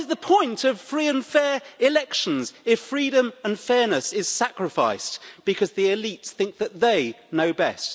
What is the point of free and fair elections if freedom and fairness is sacrificed, because the elite think that they know best?